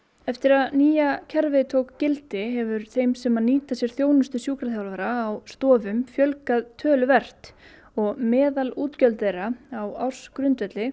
eftir að nýja kerfið tók gildi hefur þeim sem nýta sér þjónustu sjúkraþjálfara á stofum fjölgað töluvert og meðalútgjöld þeirra á ársgrundvelli